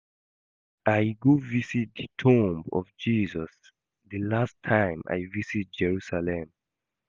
I go visit the tomb of Jesus the last time I visit Jerusalem